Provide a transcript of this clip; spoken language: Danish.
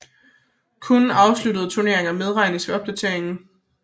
Kun afsluttede turneringer medregnes ved opdateringen